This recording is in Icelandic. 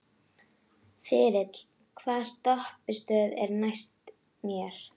Þyrill, hvaða stoppistöð er næst mér?